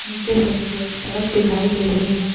नीचे से मुझे सड़क दिखाई दे रही है।